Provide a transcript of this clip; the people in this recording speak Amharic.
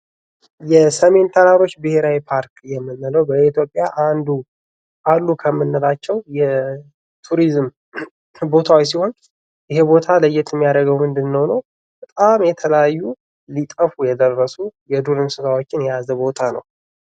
የሰሜን ተራሮች ብሄራዊ ፓርክ የምንለው በኢትዮጵያ አንዱ አሉ ከምንላቸው የቱሪዝም ቦታዎች ሲሆን ይህ ቦታ ለየት የሚያደርገው በጣም የተለያዩ ሊጠፉ የደረሱ የዱር እንስሳቶችን የያዘ ቦታ ነው።